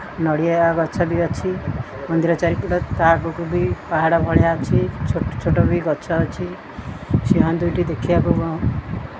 ନଡ଼ିଆ ଗଛ ଟେ ଅଛି ମନ୍ଦିର ଚାରିପଟେ ତା ଆଗୁକୁ ବି ପାହାଡ଼ ଭଳିଆ ଅଛି ଛୋଟ ଛୋଟ ବି ଗଛ ଅଛି ସିଂହ ଦୁଇଟି ଦେଖିବାକୁ --